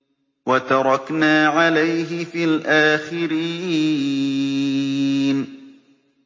وَتَرَكْنَا عَلَيْهِ فِي الْآخِرِينَ